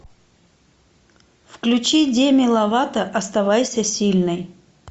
включи деми ловато оставайся сильной